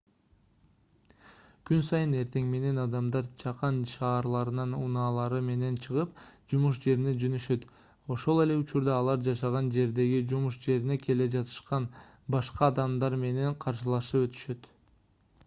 күн сайын эртең менен адамдар чакан шаарларынан унаалары менен чыгып жумуш жерине жөнөшөт ошол эле учурда алар жашаган жердеги жумуш жерине келе жатышкан башка адамдар менен каршылашып өтүшөт